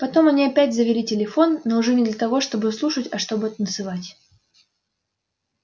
потом они опять завели телефон но уже не для того чтобы слушать а чтобы танцевать